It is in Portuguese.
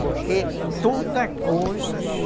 Porque todas as coisas